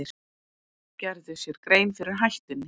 Gerðu sér grein fyrir hættunni